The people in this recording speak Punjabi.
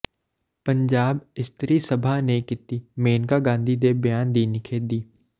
ਪੰਜਾਬ ਇਸਤਰੀ ਸਭਾ ਨੇ ਕੀਤੀ ਮੇਨਕਾ ਗਾਂਧੀ ਦੇ ਬਿਆਨ ਦੀ ਨਿਖੇਧੀ